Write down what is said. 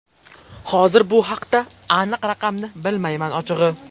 Hozir bu haqda aniq raqamni bilmayman, ochig‘i.